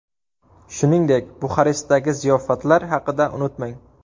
Shuningdek, Buxarestdagi ziyofatlar haqida unutmang.